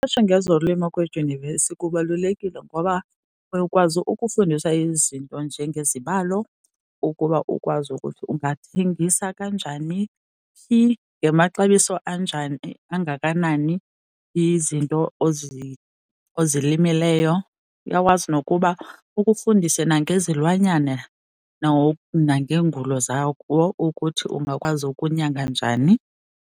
Uqeqesho ngezolimo kwedyunivesi kubalulekile ngoba uyokwazi ukufundiswa izinto njengezibalo ukuba ukwazi ukuthi ungazithengisa kanjani, phi, ngamaxabiso anjani, angakanani izinto ozilimeleyo. Uyakwazi nokuba ukufundise nangezilwanyana nangeengulo zawo ukuthi ungakwazi ukunyanga njani.